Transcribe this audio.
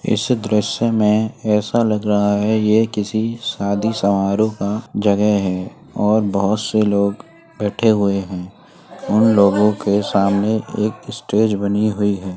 इस दृश्य में ऐसा लग रहा है यह किसी शादी समारोह का जगह है और बहुत से लोग बैठे हुए हैं और उन लोगों के सामने एक स्टेज बनी हुई है।